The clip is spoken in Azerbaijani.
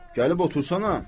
Gəlib otursana.